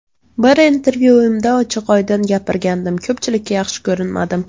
Bir intervyuimda ochiq-oydin gapirgandim, ko‘pchilikka yaxshi ko‘rinmadim.